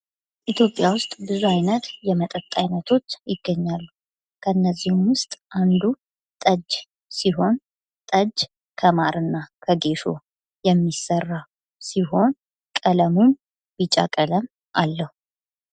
ኢትዮጵያ ዉስጥ ብዙ አይነት የመጠጥ አይነቶች ይገኛሉ። ከእነዚህም ዉስጥ አንዱ ጠጅ ሲሆን ጠጅ ከማር እና ከጌሾ የሚሰራ ሲሆን ቀለሙም ቢጫ ቀለም አለዉ።